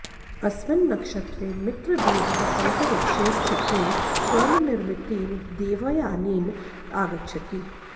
अस्मिन् नक्षत्रे मित्रदेवः अन्तरिक्षे स्थितेन स्वर्णनिर्मितेन देवयानेन आगच्छति